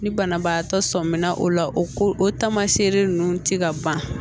Ni banabaatɔ sɔmina o la o ko o taamaseereli ninnu tɛ ka ban